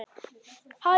Það er lífsins alvara.